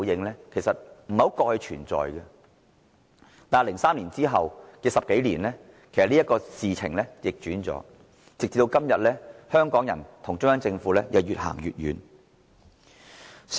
但是，在2003年後的10多年，這情況已然逆轉，今天，香港人與中央政府已越走越遠。